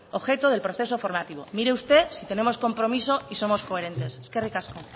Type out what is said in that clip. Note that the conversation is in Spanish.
objeto del proceso formativo mire usted si tenemos compromiso y somos coherentes eskerrik asko